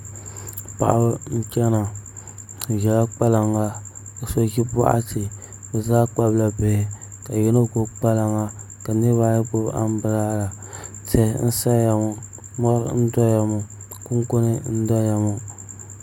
Paɣaba n chɛna bi ʒila kpalaŋa ka so ʒi boɣati bi zaa kpabila bihi ka yino gbubi kpalaŋa ka niraba ayi gbubi anbirala tihi n saya ŋo mori n doya ŋo kunkuni n doya ŋo